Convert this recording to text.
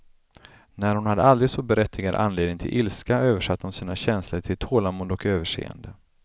När hon hade aldrig så berättigad anledning till ilska översatte hon sina känslor till tålamod och överseende.